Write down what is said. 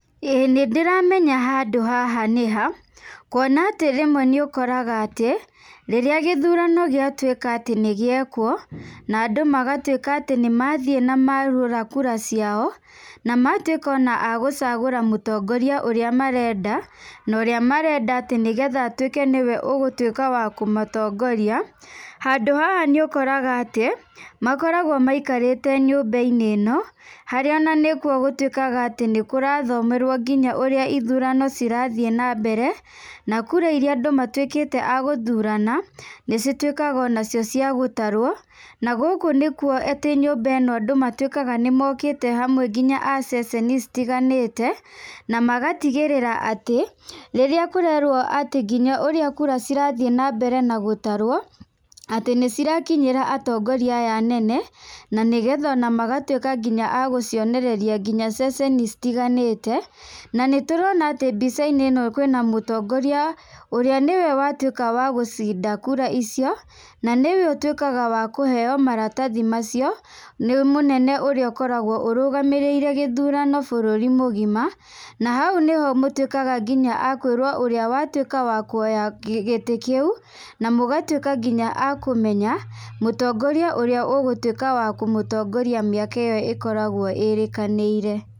Ĩĩ nĩ ndĩramenya handũ haha nĩha, kuona atĩ rĩmwe nĩũkoraga atĩ, rĩrĩa gĩthurano gĩatuĩka atĩ nĩ gĩekwo na andũ magatuĩka atĩ nĩmathiĩ na mahũra kura ciao, na matuĩka agũcagũra mũtongoria ũrĩa marenda, na ũrĩa marenda nĩgetha atuĩke nĩwe ũgũtuĩka wa kũmatongoria, handũ haha nĩũkoraga atĩ, makoragwo maikarĩte nyũmba-inĩ ĩno harĩa nĩkuo gũtuwĩkaga nginya nĩkũrathomerwo ũrĩa ithurano cirathiĩ na mbere, na kura irĩa andũ matuĩkĩte agũthurana nĩcituĩkaga nacio cia gũtarwo, na gũkũ nĩkuo, atĩ nyũmba ĩno andũ matuĩkaga nĩmokĩte hamwe nginya a ceceni citiganĩte, na magatigĩrĩra atĩ, rĩrĩa kũrerwo nginya ũrĩa kura cirathiĩ na mbere na gũtarwo atĩ nĩcirakinyĩra atongoria aya nene, na nĩgetha magatuĩka nginya agũgĩonereria nginya ceceni citiganĩte, na nĩtũrona atĩ mbica-inĩ kwĩna mũtongoria ũrĩa nĩwe watuĩka wa gũcinda kura icio, na nĩwe ũtuĩkaga wa kũheyo maratathi macio nĩ mũnene ũrĩa ũkoragwo arũgamĩrĩire gĩthurano bũrũri mũgima. Na hau nĩho mũtuĩkaga akwĩrwo nginya ũrĩa watuĩka wa kuoya gĩtĩ kĩu, na mũgatuĩka nginya akũmenya mũtongoria ũrĩa ũgũtuĩka wa kũmũtongoria mĩaka ĩyo ĩkoragwo ĩrĩkanĩire.